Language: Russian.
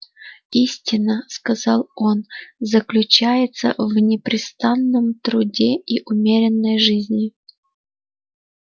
истина сказал он заключается в непрестанном труде и умеренной жизни